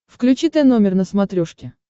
включи т номер на смотрешке